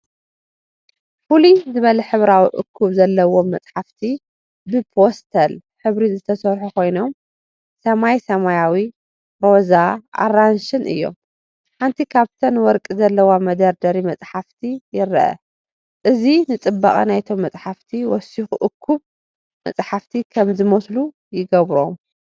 ፍሉይ ዝበለ ሕብራዊ እኩብ ዘለዎም መጻሕፍቲ ብፓስተል ሕብሪ ዝተሰርሑ ኮይኖም፡ ሰማይ ሰማያዊ፡ ሮዛ፡ ኣራንሺን እዮም። ሓንቲ ካብተን ወርቂ ዘለዋ መደርደሪ መጽሓፍቲ ይርአ። እዚ ንጽባቐ ናይቶም መጻሕፍቲ ወሲኹ እኩብ መጻሕፍቲ ከም ዝመስሉ ይገብሮም።